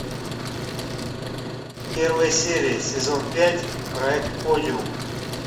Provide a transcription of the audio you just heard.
первая серия сезон пять проект подиум